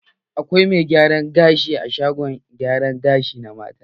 Akwai mai gyaran gashi a shagon gyara gashi na mata.